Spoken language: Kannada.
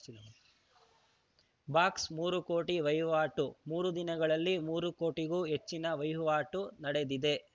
ಬಾಕ್ಸ್‌ ಮೂರು ಕೋಟಿ ವಹಿವಾಟು ಮೂರು ದಿನಗಳಲ್ಲಿ ಮೂರು ಕೋಟಿಗೂ ಹೆಚ್ಚಿನ ವಹಿವಾಟು ನಡೆದಿದೆ